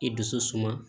I dusu suma